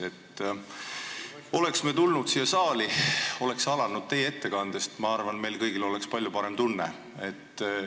Kui me oleks tulnud siia saali ja alustanud teie ettekandega, siis, ma arvan, meil kõigil oleks palju parem tunne.